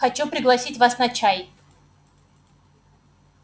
хочу пригласить вас на чай